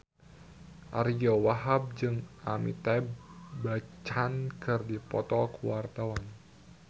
Ariyo Wahab jeung Amitabh Bachchan keur dipoto ku wartawan